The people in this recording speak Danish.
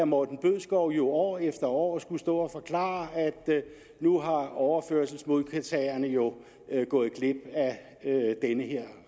morten bødskov jo år efter år skulle stå og forklare at nu er overførselsmodtagere jo gået glip af den her